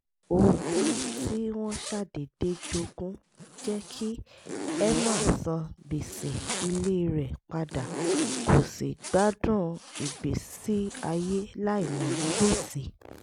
ogún tí wọ́n ṣàdédé jogún jẹ́ kí emma san gbèsè ilé rẹ̀ padà kó sì gbádùn ìgbésí ayé láìní gbèsè